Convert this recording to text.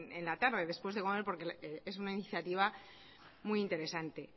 en la tarde después de comer porque es una iniciativa muy interesante